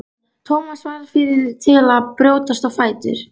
Thomas varð fyrri til að brjótast á fætur.